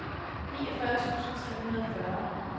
niogfyrre tusind tre hundrede og fyrre